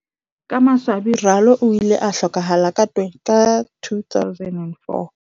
Ka maswabi Ralo o ile a hlokahala ka 2004.